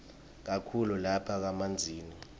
kakhulu lapha kamanzini